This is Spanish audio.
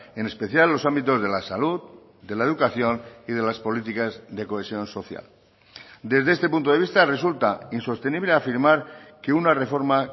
en especial los ámbitos de la salud de la educación y de las políticas de cohesión social desde este punto de vista resulta insostenible afirmar que una reforma